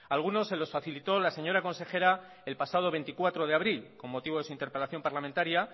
algunos se lo facilitó la señora consejera el pasado veinticuatro de abril con motivo de su interpelación parlamentaria